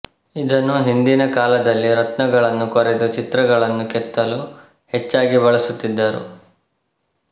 ಇದನ್ನು ಹಿಂದಿನ ಕಾಲದಲ್ಲಿ ರತ್ನಗಳನ್ನು ಕೊರೆದು ಚಿತ್ರಗಳನ್ನು ಕೆತ್ತಲು ಹೆಚ್ಚಾಗಿ ಬಳಸುತ್ತಿದ್ದರು